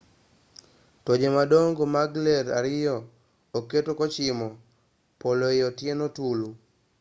toje madongo mag ler ariyo oketi kochimo polo ei otieno tulu